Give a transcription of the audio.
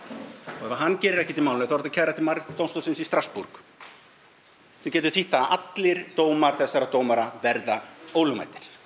og ef hann gerir ekkert í málinu þá er hægt að kæra til Mannréttindadómstólsins í Strasborg sem getur þýtt það að allir dómar þessara dómara verða ólögmætir